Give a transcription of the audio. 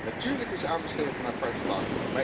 Natuurlijk is aanbesteden een apart vak.